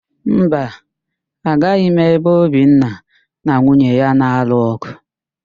Mba, ahụghị m ebe Obinna na nwunye ya na-alụ ọ̀gụ̀